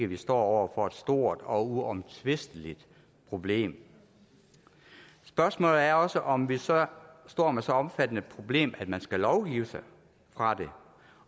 vi står over for et stort og uomtvisteligt problem spørgsmålet er også om vi så står med så omfattende et problem at man skal lovgive sig fra det